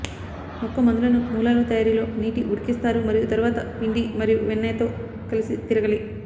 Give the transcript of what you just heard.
మొక్క మందులను మూలాలు తయారీలో నీటి ఉడికిస్తారు మరియు తరువాత పిండి మరియు వెన్న తో కలిసి తిరగలి